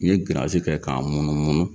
N ye giranzi kɛ k'a munumunu.